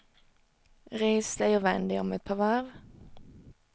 Res dig och vänd dig om ett par varv.